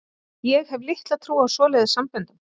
Ég hef litla trú á svoleiðis samböndum.